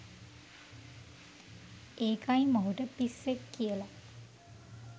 ඒකයි මොහුට “පිස්සෙක්” කියලා